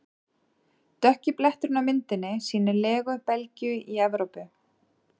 Dökki bletturinn á myndinni sýnir legu Belgíu í Evrópu.